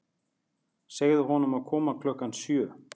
Segðu honum að koma klukkan sjö.